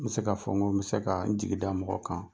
N be se ka fɔ ŋo n be se kaa n jigida mɔgɔ kan.